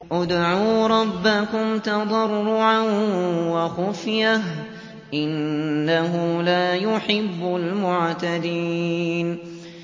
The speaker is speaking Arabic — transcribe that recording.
ادْعُوا رَبَّكُمْ تَضَرُّعًا وَخُفْيَةً ۚ إِنَّهُ لَا يُحِبُّ الْمُعْتَدِينَ